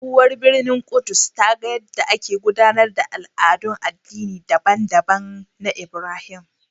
Tsohuwar birnin Ƙudus ta ga yadda ake gudanar da al'adun addinai daban-daban na Ibrahim.